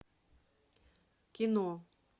кино